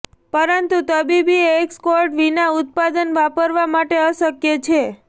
પરંતુ તબીબી એસ્કોર્ટ વિના ઉત્પાદન વાપરવા માટે અશક્ય છે